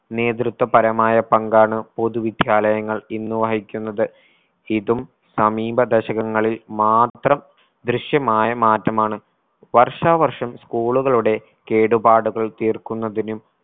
നേതൃത്വപരമായ പങ്കാണ് പൊതു വിദ്യാലയങ്ങൾ ഇന്ന് വഹിക്കുന്നത്. ഇതും സമീപ ദശകങ്ങളിൽ മാത്രം ദൃശ്യമായ മാറ്റമാണ് വർഷാ വർഷം school കളുടെ കേടുപാടുകൾ തീർക്കുന്നതിനും